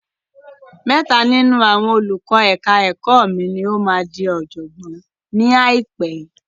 Mẹ́ta nínú àwọn olùkọ́ ẹ̀ka ẹ̀kọ́ mi ni ó máa di ọ̀jọ̀gbọ́n ni àìpé.